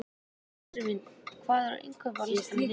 Jósefín, hvað er á innkaupalistanum mínum?